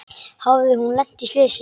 Hafði hún lent í slysi?